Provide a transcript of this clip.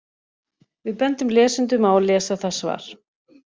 Við bendum lesendum á að lesa það svar.